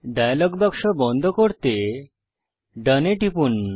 dialogue বাক্স বন্ধ করতে ডোন এ টিপুন